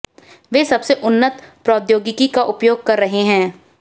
वे सबसे उन्नत प्रौद्योगिकी का उपयोग कर रहे हैं